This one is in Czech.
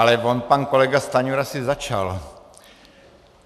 Ale on pan kolega Stanjura si začal.